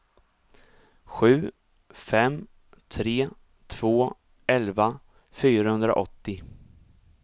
sju fem tre två elva fyrahundraåttio